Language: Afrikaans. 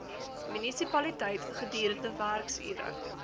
munisipaliteit gedurende werksure